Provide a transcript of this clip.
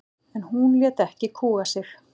En hún lét ekki kúga sig.